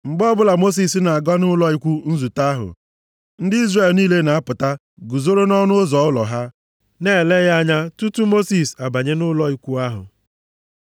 Mgbe ọbụla Mosis na-aga nʼụlọ ikwu nzute ahụ, ndị Izrel niile na-apụta guzoro nʼọnụ ụzọ ụlọ ha, na-ele ya anya tutu Mosis abanye nʼụlọ ikwu ahụ.